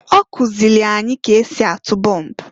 Ọkụzịlị anyị k'esi atụ bomb.